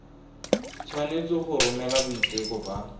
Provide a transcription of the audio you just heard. tshwanetse go romela boiteko ba